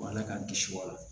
Ala k'an kisi wa